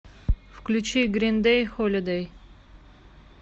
включи грин дэй холидэй